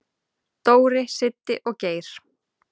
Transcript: """Dóri, Siddi og Geir."""